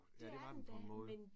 Ja det var den på en måde